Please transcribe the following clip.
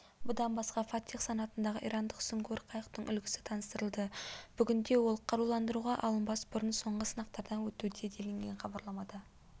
бұдан басқа фатех санатындағы ирандық сүңгуір қайықтың үлгісі таныстырылды бүгінде ол қаруландыруға алынбас бұрын соңғы сынақтардан өтуде делінген хабарламада